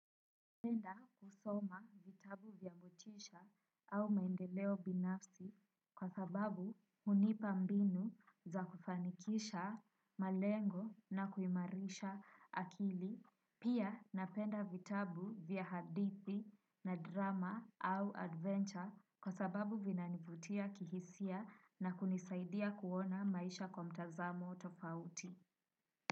Napenda kusoma vitabu vya motisha au maendeleo binafsi kwa sababu hunipa mbinu za kufanikisha malengo na kuimarisha akili. Pia napenda vitabu vya hadthi na drama au adventure kwa sababu vinanivutia kihisia na kunisaidia kuona maisha kwa mtazamo tofauti.